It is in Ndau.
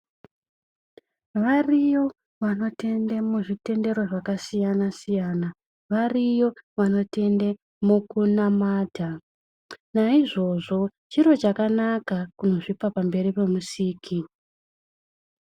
Variyo vanotenda muzvitendero zvakasiyana siyana, variyo vanotende mukunamata, naizvozvo chiro chakanaka kuzvipa pamberi peMusiki.